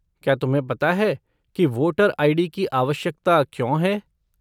क्या तुम्हें पता है कि वोटर आई.डी. की आवश्यकता क्यों है?